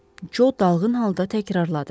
Co dalğın halda təkrarladı.